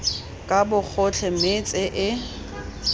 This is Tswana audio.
ka bogotlhe mme tse e